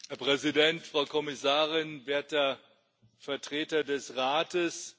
Herr Präsident, Frau Kommissarin, werter Vertreter des Rates!